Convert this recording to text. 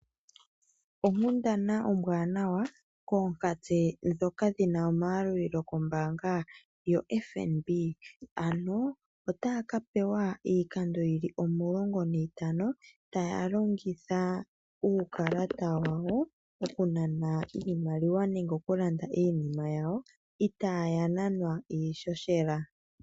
Onkundana ombaanawa koonkatse ndhoka dhina omayalulilo kombaanga yoFNB ano otaya ka pewa iikando yili omulongo niitano taya longitha uukalata wawo oku nana iimaliwa nengeoku landa iinima yawo itaaya nanwa iishoshela.